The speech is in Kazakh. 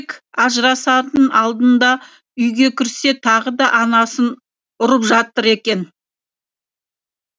тек ажырасардың алдында үйге кірсе тағы да анасын ұрып жатыр екен